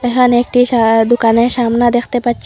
এখানে একটি সা দুকানের সামনে দেখতে পাচ্ছি।